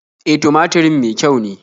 E, tumaturin me kyau ne.